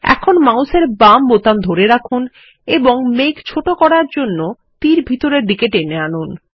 এখন মাউসের বাম বোতাম ধরে রাখুন এবং মেঘ ছোট করার জন্য তীর ভিতরের দিকে টেনে আনুন